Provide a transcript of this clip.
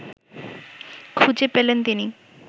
খুঁজে পেলেন তিনি